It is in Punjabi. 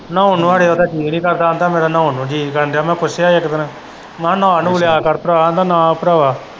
ਨਹਾਉਣ ਨੂੰ ਖਰੇ ਉਹਦਾ ਜੀਅ ਨਹੀਂ ਕਰਦਾ ਆਂਦਾ ਮੇਰੇ ਨਹਾਉਣ ਨੂੰ ਜੀਅ ਨਹੀਂ ਕਰਨ ਦਿਆ ਮੈਂ ਪੁੱਛਿਆ ਹੀ ਇੱਕ ਦਿਨ ਮੈਂ ਕਿਹਾ ਨਾਹ ਨੂਹ ਲਿਆ ਕਰ ਭਰਾ ਆਂਦਾ ਨਾ ਉਹ ਭਰਾਵਾ।